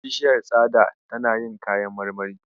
Bishiyar tsada tana yin kayan marmari.